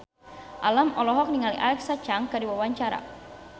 Alam olohok ningali Alexa Chung keur diwawancara